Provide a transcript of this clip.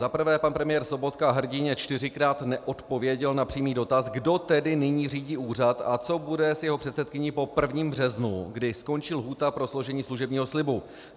Za prvé, pan premiér Sobotka hrdinně čtyřikrát neodpověděl na přímý dotaz, kdo tedy nyní řídí úřad a co bude s jeho předsedkyní po 1. březnu, kdy skončí lhůta pro složení služebního slibu.